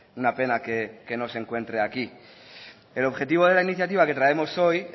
una pena que no se encuentre aquí el objetivo de la iniciativa que traemos hoy